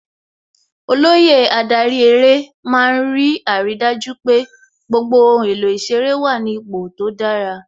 Olóyè adarí eré má ń rí àrídájú pé gbogbo ohun èlò ìṣeré wà ní ipò tó dára